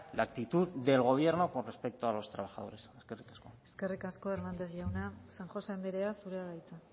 la actitud del gobierno con respecto a los trabajadores eskerrik asko eskerrik asko hernández jauna san josé andrea zurea da hitza